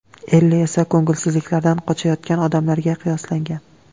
Elli esa ko‘ngilsizliklardan qochayotgan odamlarga qiyoslangan.